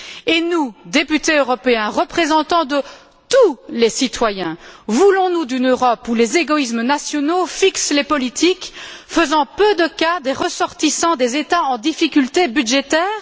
Et nous, députés européens, représentants de tous les citoyens, voulons nous d'une Europe où les égoïsmes nationaux fixent les politiques, faisant peu de cas des ressortissants des États en difficulté budgétaire?